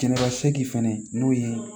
Jɛnɛba segi fɛnɛ n'o ye